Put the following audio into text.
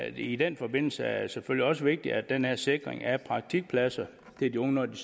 i den forbindelse er det selvfølgelig også vigtigt at den her sikring af praktikpladser til de unge når de